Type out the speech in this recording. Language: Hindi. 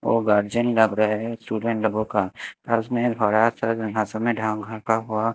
वो गार्जियन लग रहे हैं स्टूडेंट लोगों का पास में थोड़ा सा जगहां से मैदान घर का हुआ--